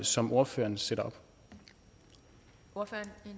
som ordføreren sætter op